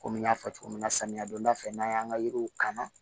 Komi n y'a fɔ cogo min na samiya donda fɛ n'an y'an ka yiriw kan